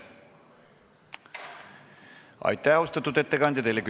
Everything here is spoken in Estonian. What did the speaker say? Aitäh, austatud ettekandja!